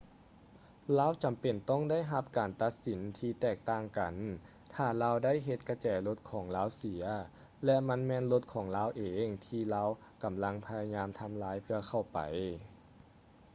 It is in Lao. ລາວຈຳເປັນຕ້ອງໄດ້ຮັບການຕັດສິນທີ່ແຕກຕ່າງກັນ ຖ້າລາວໄດ້ເຮັດກະແຈລົດຂອງລາວເສຍ ແລະ ມັນແມ່ນລົດຂອງລາວເອງທີ່ລາວກຳລັງພະຍາຍາມທຳລາຍເພື່ອເຂົ້າໄປ